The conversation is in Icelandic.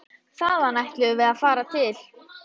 Þaðan ætluðum við að fara til